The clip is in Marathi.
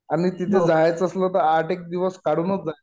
आणि तिथे जायचं असेल तर आठ एक दिवस काढूनच जा मस्त